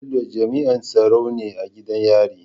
Bello jami'in tsaro ne a gidan yari